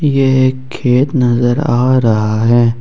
ये एक खेत नजर आ रहा है।